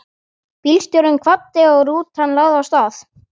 Bílstjórinn kvaddi og rútan lagði af stað.